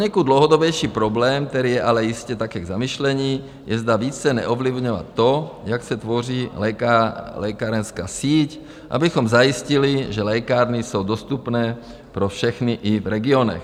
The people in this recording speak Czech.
Poněkud dlouhodobější problém, který je ale jistě taky k zamyšlení, je, zda více neovlivňovat to, jak se tvoří lékárenská síť, abychom zajistili, že lékárny jsou dostupné pro všechny i v regionech.